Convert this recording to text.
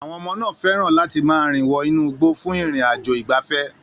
Àwọn ọmọ náà fẹ́ràn láti máa rìn wọ inú igbó fún ìrìn-àjò ìgbafẹ́.